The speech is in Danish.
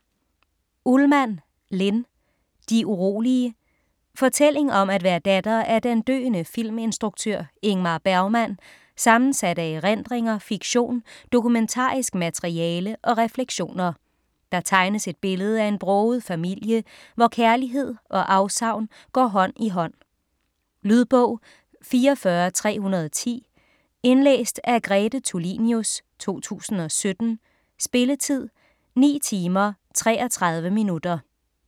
Ullmann, Linn: De urolige Fortælling om at være datter af den døende filminstruktør Ingmar Bergmann, sammensat af erindringer, fiktion, dokumentarisk materiale og refleksioner. Der tegnes et billede af en broget familie, hvor kærlighed og afsavn går hånd i hånd. Lydbog 44310 Indlæst af Grete Tulinius, 2017. Spilletid: 9 timer, 33 minutter.